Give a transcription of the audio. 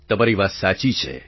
તમારી વાત સાચી છે